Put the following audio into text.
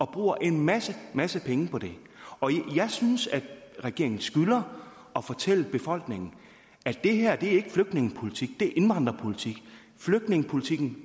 bruger en masse masse penge på det jeg synes at regeringen skylder at fortælle befolkningen at det her ikke er flygtningepolitik for det er indvandrerpolitik flygtningepolitikken